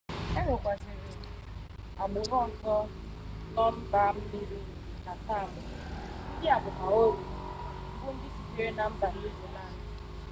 enwekwaziri agburu ozo no mba-mmiri nke chatham ndia bu maori bu ndi sitere na mba new zealand